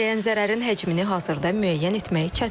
Onlara dəyən zərərin həcmini hazırda müəyyən etmək çətindir.